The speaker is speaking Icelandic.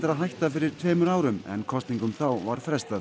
að hætta fyrir tveimur árum en kosningum þá var frestað